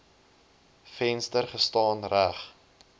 venster gestaan reg